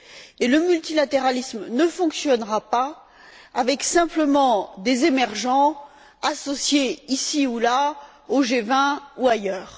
Et le multilatéralisme ne fonctionnera pas avec simplement des émergents associés ici ou là, au G20 ou ailleurs.